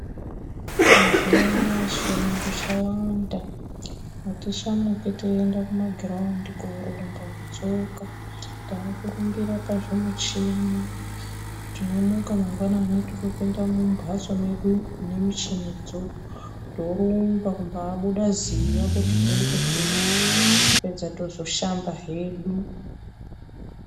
Mazuwanaya chirungu chawanda atichamuki teienda Kuma giraundi korumba ngetsoka , takurumbira pazvimuchini tinomuka mangwanani totopinda mumbatso medu mune muchinidzo torumba kubabuda ziya kuti tekwe teke yapedza tozoshamba hedu.